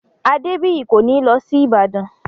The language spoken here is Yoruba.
Adébìyí kò ní lọ sí Ìbàdàn